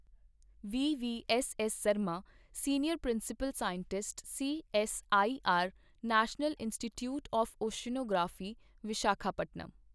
VV S S Sarma, senior principal scientist, CSIR national institute of oceanography, Visakhapatnam.